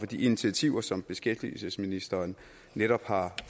de initiativer som beskæftigelsesministeren netop har